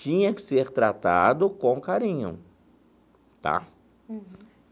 tinha que ser tratado com carinho tá.